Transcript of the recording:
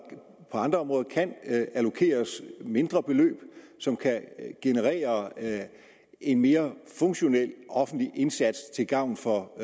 på andre områder kan allokeres mindre beløb som kan generere en mere funktionel offentlig indsats til gavn for